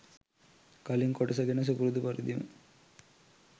කලින් කොටස ගැන සුපුරුදු පරිදිම